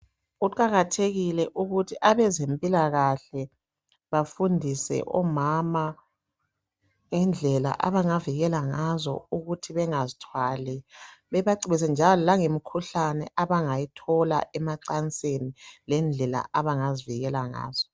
Kuqakathekile ukuthi abezempilakahle bafundise omama ngendlela abangavikela ngazo ukuthi bengazithwali bebacebise lange mikhuhlane abangayithola emacansini lendlela abangavikela ngazo.